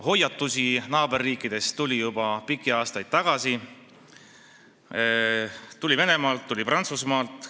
Hoiatusi naaberriikidest tuli juba pikki aastaid tagasi – tuli Venemaalt, tuli Prantsusmaalt.